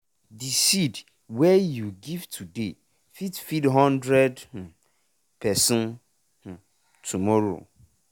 de seed wey you give today fit feed hundred um person um tomorrow